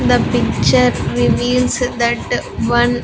The picture reveals that one --